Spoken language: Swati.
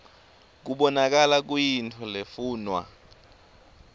kubonakala kuyintfo lefunwa